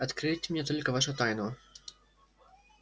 откройте мне только вашу тайну